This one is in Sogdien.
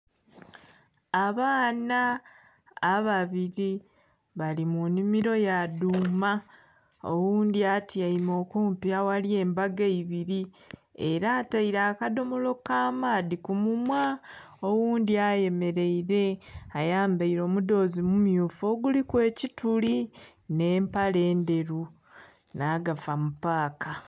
Abaana ababiri bali mu nhimiro ya dhuuma oghundhi atyaime okumpi aghali embago eibiri era ataire akadhomolo ka maadhi ku munhwa oghundhi ayemereire ayambaire omudhozi mu mmyufu oguliku ekituli nhe empale endheru nha gafa mu paaka.